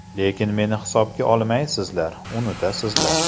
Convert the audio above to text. Lekin meni hisobga olmaysizlar, unutasizlar.